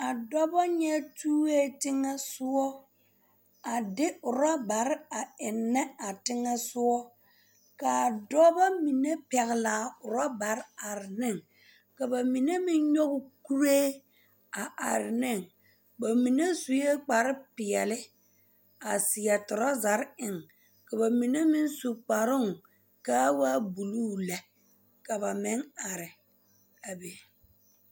A dɔbɔ nyɛ tue teŋɛ soɔ a de ɔrebare a ennɛ a teŋɛ sɔga ka a dɔbɔ mine pɛgle ɔrabare are ne ka ba mine meŋ nyɔge o kuree a are ne ba mine sue kparre peɛle a seɛ torazare eŋ ka ba mine meŋ su kparooŋ ka a waa buluu lɛ ka ba meŋ are a be.